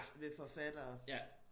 Ved forfattere